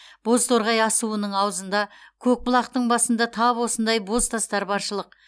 бозторғай асуының аузында көкбұлақтың басында тап осындай бозтастар баршылық